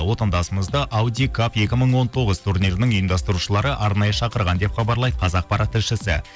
отандасымызды аудикап екі мың он тоғыз турнирінің ұйымдастырушылары арнайы шақырған деп хабарлайды қазақпарат тілшісі